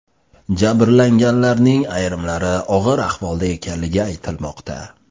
Jabrlanganlarning ayrimlari og‘ir ahvolda ekanligi aytilmoqda.